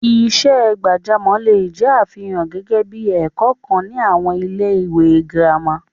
Iṣẹ́ gbàjámọ̀ le è jẹ́ àfihàn gẹ́gẹ́ bí i ẹ̀kọ́ kan ní àwọn ilé-ìwé gírámà.